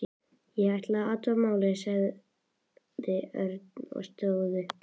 Ég ætla að athuga málið, sagði Örn og stóð upp.